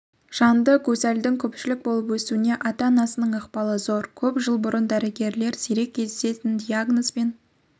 жанды гузальдың көпшіл болып өсуіне ата-анасының ықпалы зор көп жыл бұрын дәрігерлер сирек кездесетін диагнозбен